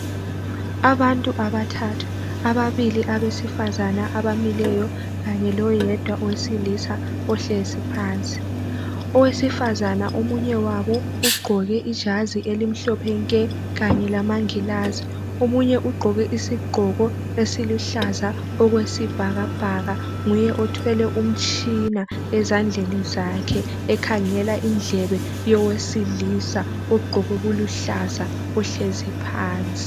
Abantu abathathu, ababili abesifazana, abamileyo. Kanye loyedwa owesilisa ohlezi phansi. Owesifazana omunye wabo, ugqoke ijazi elimhlophe nke kanye lamangilazi. Omunye ugqoke isigqoko esiluhlaza okwesibhakabhaka. Nguye othwele umtshina ezandleni zakhe, ekhangela indlebe yowesilisa, ogqoke okuluhlaza. Ohlezi phansi.